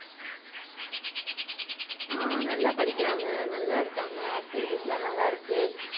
ஆஹ் நல்லா படிக்கிறான் ma'am நல்லா இருக்காங்க activities லா நல்லா இருக்கு.